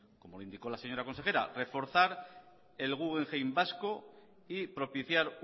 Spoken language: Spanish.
como indicó la señora consejera reforzar el guggenheim vasco y propiciar